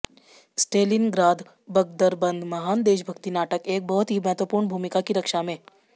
Stalingrad बख़्तरबंद महान देशभक्ति नाटक एक बहुत ही महत्वपूर्ण भूमिका की रक्षा में